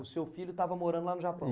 O seu filho estava morando lá no Japão.